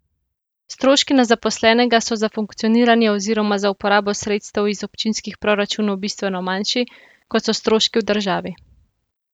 Stroški na zaposlenega so za funkcioniranje oziroma za uporabo sredstev iz občinskih proračunov bistveno manjši, kot so stroški v državi.